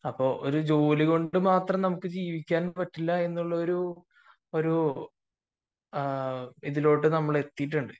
ഒരു ജോലി മാത്രം കൊണ്ട് നമുക്ക് ജീവിക്കാൻ പറ്റില്ല എന്ന ഒരു ഇതിലൊട്ടു നമ്മൾ എത്തിയിട്ടുണ്ട്